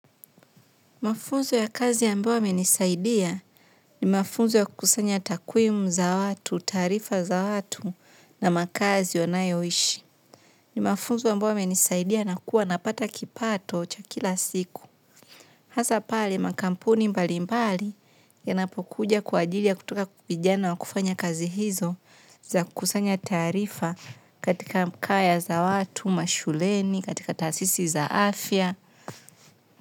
Mafunzo ya kazi ambayo yamenisaidia ni mafunzo ya kukusanya takwimu za watu, taarifa za watu na makaazi wanayoishi. Ni mafunzo ambayo yamenisaidia nakuwa napata kipato cha kila siku. Hasa pale makampuni mbali mbali yanapokuja kwa ajili ya kutaka vijana wa kufanya kazi hizo za kukusanya taarifa katika mkaya za watu, mashuleni, katika taasisi za afya.